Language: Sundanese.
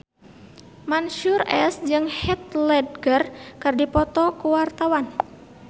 Mansyur S jeung Heath Ledger keur dipoto ku wartawan